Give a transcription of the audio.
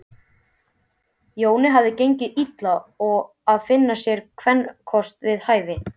Jóni hafði gengið illa að finna sér kvenkost við hæfi.